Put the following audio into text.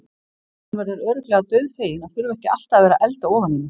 Hún verður örugglega dauðfegin að þurfa ekki alltaf að vera að elda ofan í mig.